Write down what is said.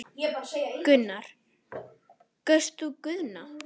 Gunnar: Kaust þú Guðna?